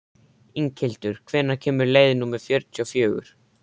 Inghildur, hvenær kemur leið númer fjörutíu og fjögur?